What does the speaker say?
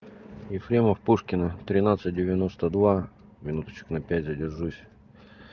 ефремов пушкина тринадцать девяносто два минут на пять задержусь